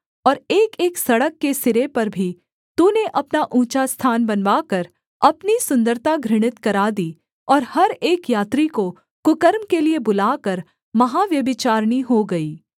और एकएक सड़क के सिरे पर भी तूने अपना ऊँचा स्थान बनवाकर अपनी सुन्दरता घृणित करा दी और हर एक यात्री को कुकर्म के लिये बुलाकर महाव्यभिचारिणी हो गई